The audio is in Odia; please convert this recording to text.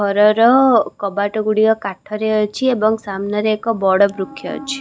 ଘରର କବାଟ ଗୁଡିକ କାଠରେ ଅଛି ଏବଂ ସାମ୍ନାରେଏକ ବଡ ବୃକ୍ଷ ଅଛି।